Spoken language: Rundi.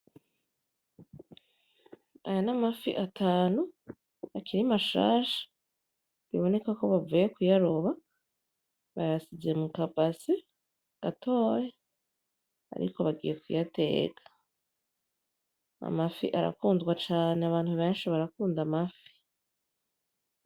Aya n'amafi atanu akiri mashasha biboneka ko bavuye kuyaroba bayashize mukabase gatoya ariko bagiye kuyateka ,Amafi ara kundwa cane ,Abantu beshi barakunda amafi.